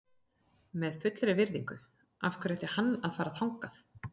Með fullri virðingu, af hverju ætti hann að fara þangað?